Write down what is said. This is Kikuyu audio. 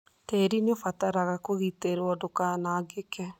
Tĩĩri nĩ ũbataraga kũgitĩrũo ndũkanangĩke.